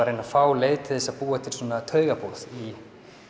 reyna að fá leið til þess að búa til svona taugaboð í